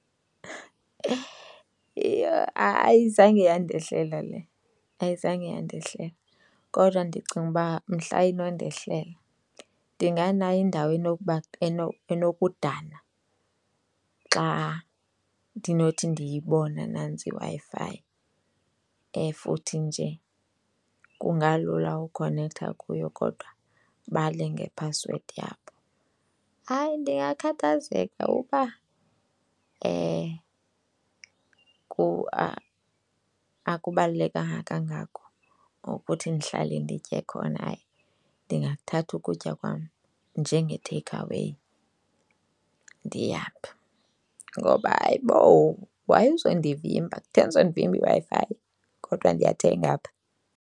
Yho, hayi zange yandehlela le! Ayizange yandehlela kodwa ndicinga uba mhla inondehlela ndinganayo indawo enokuba enokudana xa ndinothi ndiyibona nantsi iWi-Fi futhi nje kungalula ukukhonektha kuyo kodwa bale ngephasiwedi yabo. Hayi, ndingakhathazeka uba kuba akubalulekanga kangako okuthi ndihlale nditye khona, hayi ndingathatha ukutya kwam njenge-takeaway ndihambe ngoba hayibo why uzondivimba. Kutheni uzondivimba iWi-Fi kodwa ndiyathenga apha?